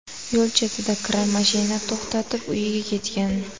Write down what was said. Yo‘l chetida kira mashina to‘xtatib, uyiga ketgan.